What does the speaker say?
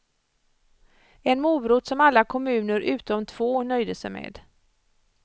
En morot som alla kommuner utom två nöjde sig med.